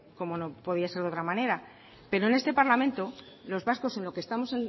como no podía ser de otra manera pero en este parlamento los vascos en lo que estamos